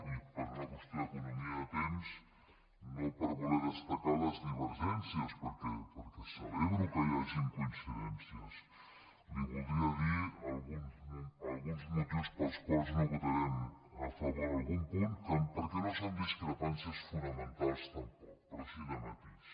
i per una qüestió d’economia de temps no per voler destacar les diver·gències perquè celebro que hi hagin coincidències li voldria dir alguns motius pels quals no votarem a fa·vor algun punt perquè no són discrepàncies fonamen·tals tampoc però sí de matís